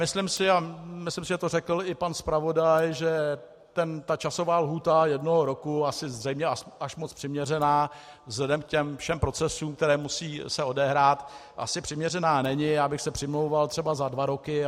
Myslím si, a myslím, že to řekl i pan zpravodaj, že ta časová lhůta jednoho roku, asi zřejmě až moc přiměřená vzhledem k těm všem procesům, které musí se odehrát, asi přiměřená není, já bych se přimlouval třeba za dva roky.